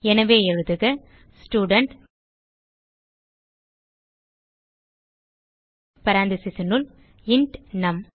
எனவே எழுதுக ஸ்டூடென்ட் parenthesesனுள் இன்ட் நும்